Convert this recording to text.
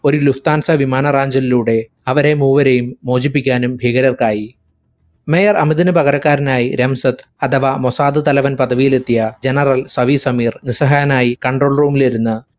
ഒരു lufthansa വിമാനറാഞ്ചലിലൂടെ അവരെ മൂവരെയും മോചിപ്പിക്കാനും ഭീകരർക്കായി. mayor ഹമിദിന് പകരക്കാരനായി റംസത് അഥവാ മൊസാദ് തലവൻ പദവിലെത്തിയ general സവീർ സമീർ നിസ്സഹായനായി control room ഇൽ ഇരുന്ന്